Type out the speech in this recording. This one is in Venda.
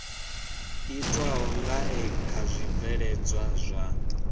itwaho ngae kha zwibveledzwa zwa